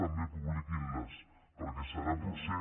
també publiquin·les perquè serà potser